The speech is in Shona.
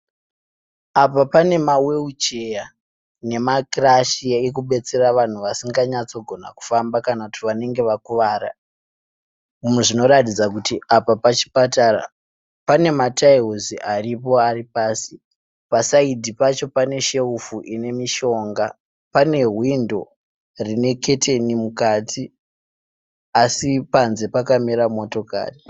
Apa pane ma wiru cheya nemakirashi ekubetsera vanhu vasinganyatsogona kufamba kana kuti vanenge vakuvara. Zvinoratidza kuti apa pachipatara. Pane matairisi aripo ari pasi pasaidhi pacho pane sherufu ine mishonga. Pane hwindo rine keteni mukati asi panze pakamira motokari.